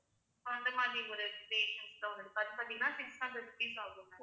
so அந்த மாதிரி ஒரு patients அது பாத்தீங்கன்னா six hundred rupees ஆகும் ma'am